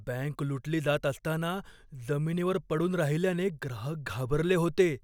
Bank लुटली जात असताना जमिनीवर पडून राहिल्याने ग्राहक घाबरले होते.